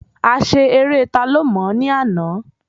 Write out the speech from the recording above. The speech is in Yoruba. A ṣe eré ta ló mò ní àná